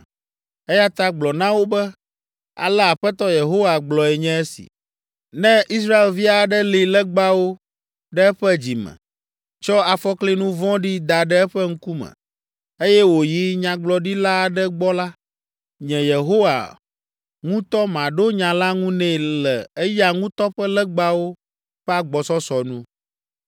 Eya ta gblɔ na wo be, ‘Ale Aƒetɔ Yehowa gblɔe nye esi: Ne Israelvi aɖe li legbawo ɖe eƒe dzi me, tsɔ afɔklinu vɔ̃ɖi da ɖe eƒe ŋkume, eye wòyi nyagblɔɖila aɖe gbɔ la, nye, Yehowa, ŋutɔ maɖo nya la ŋu nɛ le eya ŋutɔ ƒe legbawo ƒe agbɔsɔsɔ nu.